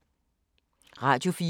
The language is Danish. Radio24syv